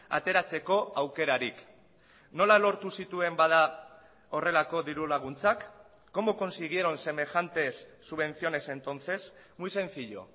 ateratzeko aukerarik nola lortu zituen bada horrelako diru laguntzak cómo consiguieron semejantes subvenciones entonces muy sencillo